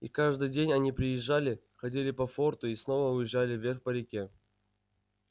и каждый день они приезжали ходили по форту и снова уезжали вверх по реке